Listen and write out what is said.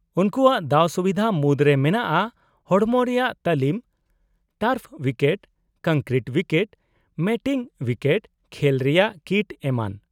-ᱩᱱᱠᱩᱣᱟᱜ ᱫᱟᱣᱼᱥᱩᱵᱤᱫᱷᱟ ᱢᱩᱫᱨᱮ ᱢᱮᱱᱟᱜᱼᱟ ᱦᱚᱲᱢᱚ ᱨᱮᱭᱟᱜ ᱛᱟᱞᱤᱢ, turf wicket, concrete wicket, matting wicket, ᱠᱷᱮᱞ ᱨᱮᱭᱟᱜ ᱠᱤᱴ ᱮᱢᱟᱱ ᱾